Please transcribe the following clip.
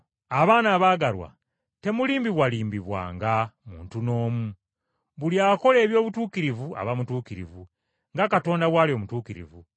Abaana abaagalwa, temulimbibwalimbibwanga muntu n’omu; Buli akola eby’obutuukirivu aba mutuukirivu, nga Katonda bw’ali omutuukirivu,